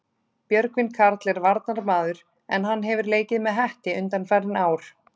Björgvin Karl er varnarmaður en hann hefur leikið með Hetti undanfarin ár.